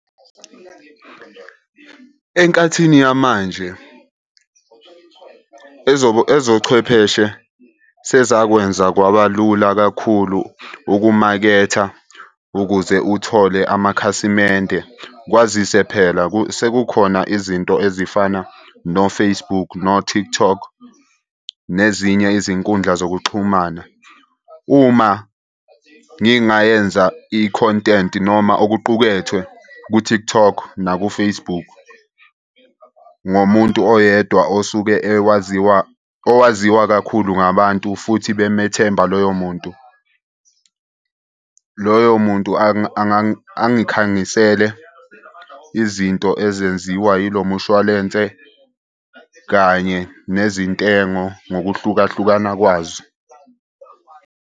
Enkathini yamanje ezochwepheshe sezakwenza kwaba lula kakhulu ukumaketha ukuze uthole amakhasimende. Kwazise phela sekukhona izinto ezifana no-Facebook no-TikTok, nezinye izinkundla zokuxhumana. Uma ngingayenza i-content noma okuqukethwe ku-TikTok naku-Facebook. Ngomuntu oyedwa osuke ewaziwa, owaziwa kakhulu ngabantu futhi bemethemba loyo muntu. Loyo muntu angikhangisele izinto ezenziwa yilo mushwalense kanye nezintengo ngokuhlukahlukana kwazo.